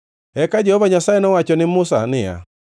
Eka Jehova Nyasaye nowacho ne Musa niya,